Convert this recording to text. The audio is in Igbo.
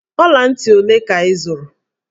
Ọla ntị ole ka ị zụrụ?